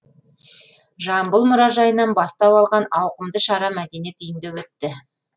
жамбыл мұражайынан бастау алған ауқымды шара мәдениет үйінде өтті